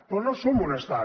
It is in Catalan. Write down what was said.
però no som un estat